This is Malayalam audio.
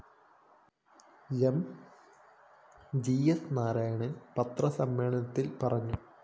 എം ജി സ്‌ നാരായണന്‍ പത്രസമ്മേളനത്തില്‍ പറഞ്ഞു